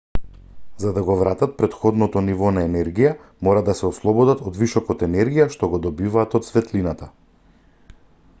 за да го вратат претходното ниво на енергија мора да се ослободат од вишокот енергија што го добиваат од светлината